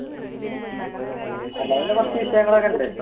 കുറച്ചു വിഷയങ്ങൾ ഒക്കെയുണ്ട്.